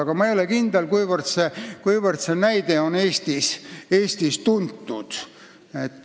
Aga ma ei ole kindel, kuivõrd see näide on Eestis tuntud.